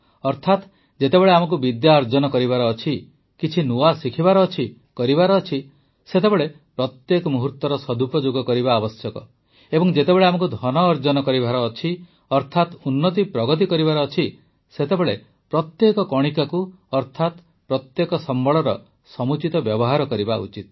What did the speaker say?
ଅର୍ଥାତ ଯେତେବେଳେ ଆମକୁ ବିଦ୍ୟା ଅର୍ଜନ କରିବାର ଅଛି କିଛି ନୂଆ ଶିଖିବାର ଅଛି କରିବାର ଅଛି ସେତେବେଳେ ପ୍ରତ୍ୟେକ ମୁହୂର୍ତ୍ତର ସଦୁପଯୋଗ କରିବା ଆବଶ୍ୟକ ଏବଂ ଯେତେବେଳେ ଆମକୁ ଧନ ଅର୍ଜନ କରିବାର ଅଛି ଅର୍ଥାତ ଉନ୍ନତିପ୍ରଗତି କରିବାର ଅଛି ସେତେବେଳେ ପ୍ରତ୍ୟେକ କଣିକାକୁ ଅର୍ଥାତ ପ୍ରତ୍ୟେକ ସମ୍ବଳର ସମୁଚିତ ବ୍ୟବହାର କରିବା ଉଚିତ